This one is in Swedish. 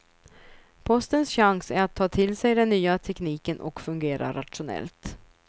Postens chans är att ta till sig den nya tekniken och fungera rationellt.